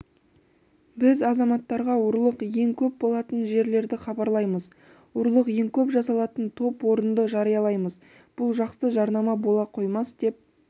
біз азаматтарға ұрлық ең көп болатын жерлерді хабарлаймыз ұрлық ең көп жасалатын топ орынды жариялаймыз бұл жақсы жарнама бола қоймас деп